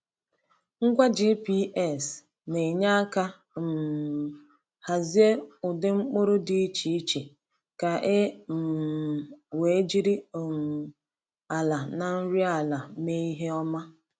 Ngwa GPS na-enye aka um hazie ụdị mkpụrụ dị iche iche ka e um wee jiri um ala na nri ala mee ihe ọma.